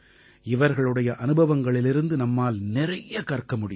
இவர்களுடைய அனுபவங்களிலிருந்து நம்மால் நிறைய கற்க முடியும்